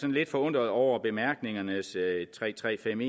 lidt forundret over bemærkningernes tre tre fem